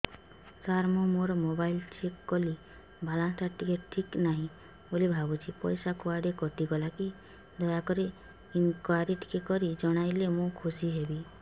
ସାର ମୁଁ ମୋର mobile check କଲି ବାଲାନ୍ସ ଟା ଠିକ ନାହିଁ ବୋଲି ଭାବୁଛି ପଇସା କୁଆଡେ କଟି ଗଲା କି ଦୟାକରି ଇନକ୍ୱାରି କରି ଜଣାଇଲେ ମୁଁ ଖୁସି ହେବି